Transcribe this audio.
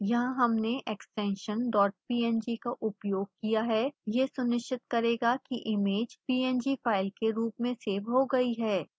यहाँ हमने extension dot png का उपयोग किया है यह सुनिश्चित करेगा कि इमेज png फाइल के रूप में सेव हो गई है